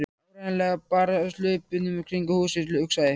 Það var áreiðanlega bara af hlaupunum kringum húsið, hugsaði